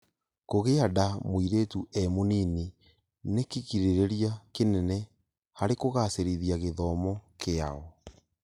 Kũgĩanda mũirĩtu e mũnini nĩkĩgirĩria kĩnene harĩkũgacĩrithia gĩthomo kĩao